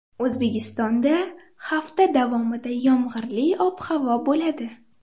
O‘zbekistonda hafta davomida yomg‘irli ob-havo bo‘ladi.